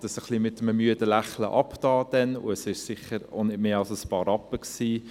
Ich tat dies damals ein wenig mit einem müden Lächeln ab, und es waren sicher auch nicht mehr als ein paar Rappen.